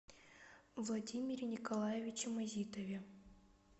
владимире николаевиче мазитове